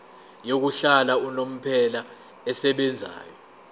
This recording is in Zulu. yokuhlala unomphela esebenzayo